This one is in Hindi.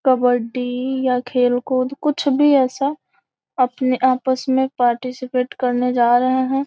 कबड्डी या खेल कूद कुछ भी ऐसा अपने आपस में पार्टिसिपेट करने जा रहे हैं।